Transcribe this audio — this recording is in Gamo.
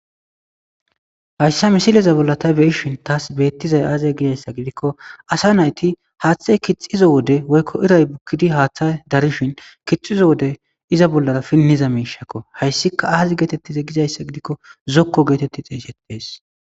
hayssa misileza bolla ta beyishin taas beettizay aazey gizayssa gidikko asa nayti haaththay kixizo wode woykko iray bukkidi haaththa darishin kixizo wode iza bollara pinniza miishakko. hayssika aazi geetettize gizayssa gidikko zokko geetetti xeeshettees.